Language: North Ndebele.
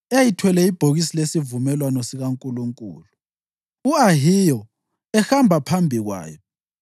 eyayithwele ibhokisi lesivumelwano sikaNkulunkulu, u-Ahiyo ehamba phambi kwayo.